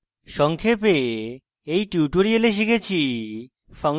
সংক্ষেপে in tutorial শিখেছি